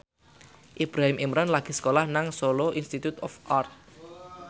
Ibrahim Imran lagi sekolah nang Solo Institute of Art